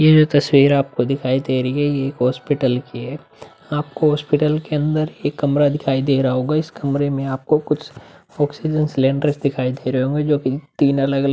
यह जो तस्वीर आपको दिखाई दे रही है ये एक हॉस्पिटल की है आपको हॉस्पिटल के अंदर एक कमरा दिखाई दे रहा होगा इस कमरे में आपको कुछ ऑक्सीजन सिलिंडर्स दिखाई दे रहे होंगे जोकि तीन अलग -अलग --